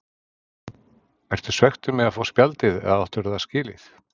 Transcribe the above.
Ertu svekktur með að fá spjaldið eða áttirðu það skilið?